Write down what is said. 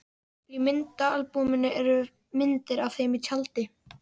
Í myndaalbúminu eru myndir af þeim í tjaldi.